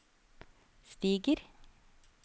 stiger